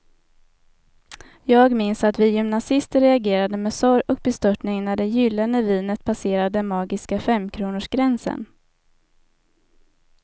Jag minns att vi gymnasister reagerade med sorg och bestörtning när det gyllene vinet passerade den magiska femkronorsgränsen.